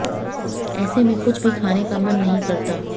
ऐसे में कुछ भी खाने का मन नहीं करता